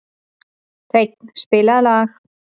Hreinn, spilaðu lag.